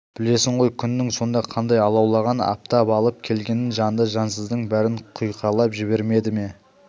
білесің ғой күннің сонда қандай алаулаған аптап алып келгенін жанды-жансыздың бәрін құйқалап жібермеді ме